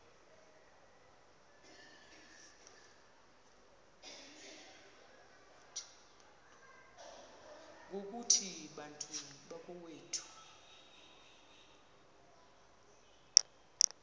ngokuthi bantu bakowethu